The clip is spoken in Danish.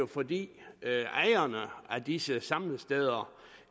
fordi ejerne af disse samlesteder